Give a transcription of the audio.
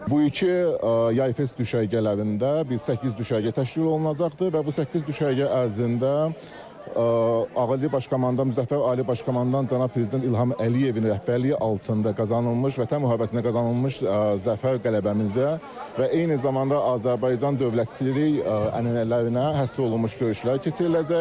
Bu iki Yay Fest düşərgələrində biz səkkiz düşərgə təşkil olunacaqdır və bu səkkiz düşərgə ərzində Ali Baş Komandan Müzəffər Ali Baş Komandan cənab prezident İlham Əliyevin rəhbərliyi altında qazanılmış vətən müharibəsində qazanılmış zəfər qələbəmizə və eyni zamanda Azərbaycan dövlətçilik ənənələrinə həsr olunmuş görüşlər keçiriləcək.